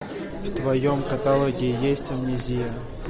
в твоем каталоге есть амнезия